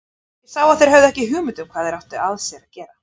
Ég sá að þeir höfðu ekki hugmynd um hvað þeir áttu af sér að gera.